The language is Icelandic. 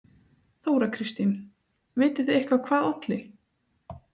Þóra Kristín: Vitið þið eitthvað hvað olli?